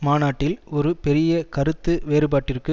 மாநாட்டில் ஒரு பெரிய கருத்து வேறுபாட்டிற்கு